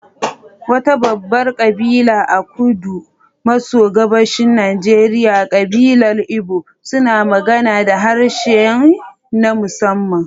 Wata babbar kabila a kudu maso gabashin Najeriya, kabilar Igbo suna magana da harshe na musamman.